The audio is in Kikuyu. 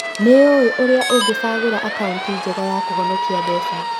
Nĩ ũũĩ ũrĩa ungĩcagũra akaũnti njega ya kũhonokia mbeca?